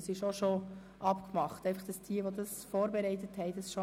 Dies zur Information an diejenigen, die sich schon vorbereitet haben.